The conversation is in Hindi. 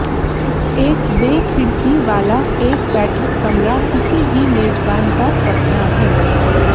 एक बे खिड़की वाला एक बैठक कमरा किसी भी मेजबान का सपना है